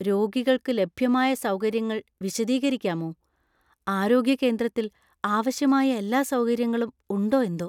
രോഗികൾക്ക് ലഭ്യമായ സൗകര്യങ്ങൾ വിശദീകരിക്കാമോ? ആരോഗ്യ കേന്ദ്രത്തിൽ ആവശ്യമായ എല്ലാ സൗകര്യങ്ങളും ഉണ്ടോ എന്തോ!